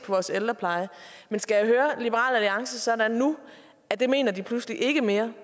vores ældrepleje men skal jeg høre liberal alliance sådan nu at det mener de pludselig ikke mere